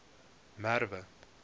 merwe